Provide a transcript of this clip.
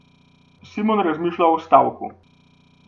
Simon razmišlja o stavku.